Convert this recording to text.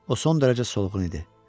O son dərəcə solğun idi.